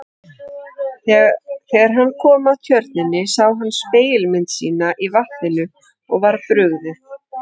Þegar hann kom að tjörninni sá hann spegilmynd sína í vatninu og var brugðið.